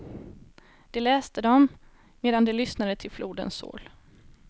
De läste dem, medan de lyssnade till flodens sorl.